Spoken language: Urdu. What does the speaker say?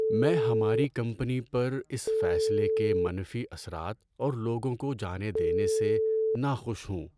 میں ہماری کمپنی پر اس فیصلے کے منفی اثرات اور لوگوں کو جانے دینے سے ناخوش ہوں۔